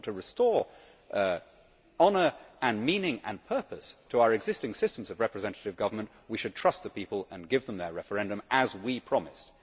If you want to restore honour and meaning and purpose to our existing systems of representative government, we should trust the people and give them their referendum as we promised.